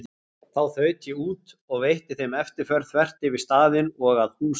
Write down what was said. Þá þaut ég út og veitti þeim eftirför þvert yfir staðinn og að húsum